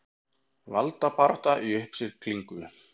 Valdabarátta í uppsiglingu